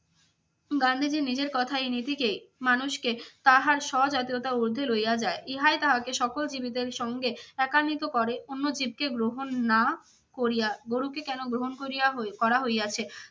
গান্ধীজী নিজের কথা এই নীতিকে মানুষকে তাহার স্বজাতীয়তা ঊর্ধ্বে লইয়া যায়। ইহাই তাহাকে সকল জীবেদের সঙ্গে একান্নিত করে। অন্য জীবকে গ্রহণ না করিয়া গরুকে কেন গ্রহণ করিয়া করা হইয়াছে?